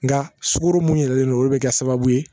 Nka sukoro mun yɛrɛlen don olu bɛ kɛ sababu ye